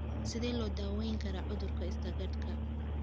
Sidee loo daweyn karaa cudurka Stargardtka?